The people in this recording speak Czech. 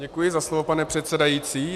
Děkuji za slovo, pane předsedající.